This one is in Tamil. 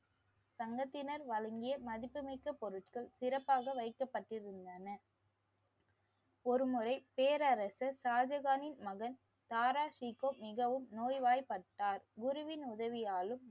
சங்கத்தினர் வழங்கிய மதிப்புமிக்க பொருள்கள் சிறப்பாக வைக்கப்பட்டிருந்தன. ஒருமுறை பேரரசர் ஷாஜகானின் மகன் தாரா சிக்கோ மிகவும் நோய்வாய்ப்பட்டார். குருவின் உதவியாலும்